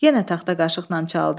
Yenə taxta qaşıqla çaldı.